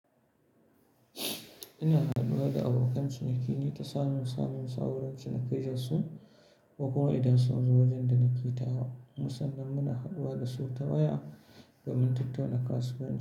Ina haduwa da abokan ciniki ne ta sanin samun sauransu na kai zur su ko kuwa idan sun zo wajen da na ƙita wa. Kuma sannan muna haduwa da su ta waya da min tattauna kasuwanci.